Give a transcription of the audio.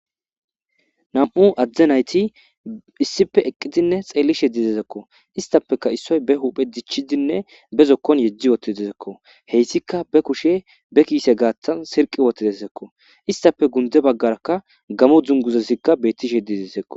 Nam'u adde nayiti issippe eqidine xelishe dizizakko istapeka issoy ba huphe dichidine bazone yediutidesikko heyisika ba kushshe be kise gatan sirqi wotidesikko issape kunte bagaraka gamo dunguzatika betishe dizesikko.